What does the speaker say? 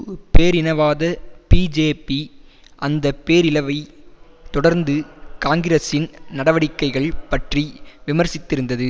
பேரினவாத பிஜேபி அந்த பேரிழவைத் தொடர்ந்து காங்கிரசின் நடவடிக்கைகள் பற்றி விமர்சித்திருந்தது